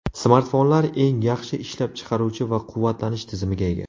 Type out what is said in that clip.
Smartfonlar eng yaxshi ishlab chiqaruvchi va quvvatlanish tizimiga ega.